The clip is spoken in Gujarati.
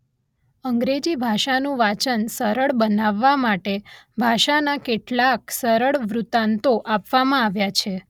અંગ્રેજી ભાષાનું વાચન સરળ બનાવવા માટે ભાષાના કેટલાક સરળ વૃત્તાંતો આપવામાં આવ્યા છે